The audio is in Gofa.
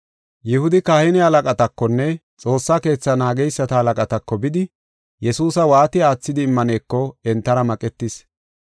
Yihudi kahine halaqatakonne Xoossa Keetha naageysata halaqatako bidi Yesuusa waati aathidi immaneko entara maqetis.